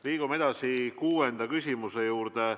Liigume edasi kuuenda küsimuse juurde.